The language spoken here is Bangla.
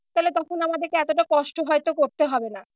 তাহলে তখন আমাদেরকে এতটা কষ্ট হয়তো করতে হবে না।